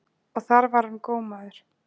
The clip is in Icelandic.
Og þar var hann gómaður.